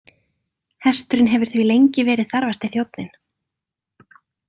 Hesturinn hefur því lengi verið þarfasti þjónninn.